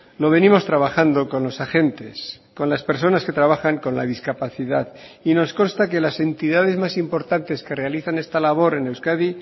lo venimos trabajando con los agentes con las personas que trabajan con la discapacidad y nos consta que las entidades más importantes que realizan esta labor en euskadi